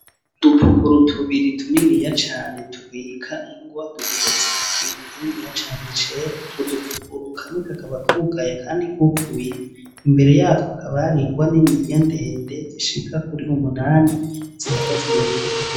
Udupukuru tubiri tuniniya cane tubika ingwa duteretse ku kintu kininiya cane cera utwo dupukuru kamwe kakaba kugaye akandi kuguruye, imbere yatwo hakaba har'ingwa niniya ndende zishika kuri umunani zihagaze imbere yutwo dupukuru.